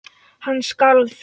Hann skalf.